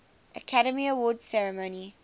academy awards ceremony